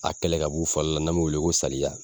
A kɛlɛ ka b'u farila n'an b'o wele ko saliya